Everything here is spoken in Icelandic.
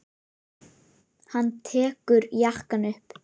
Hann tekur jakkann upp.